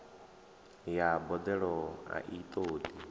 ya boḓelo a i ṱoḓi